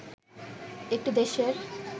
একটি দেশের